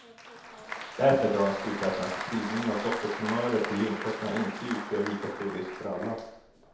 Därför drar han slutsatsen att spridning av dottertumörer till lymfkörtlarna inte utgör lika stor risk för alla.